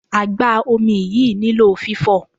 Agba-omi yìí nílò fifo.